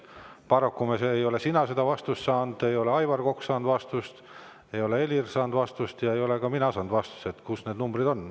Paraku ei ole sina seda vastust saanud, ei ole Aivar Kokk saanud vastust, ei ole Helir saanud vastust ja ei ole ka mina saanud vastust, kus need numbrid on.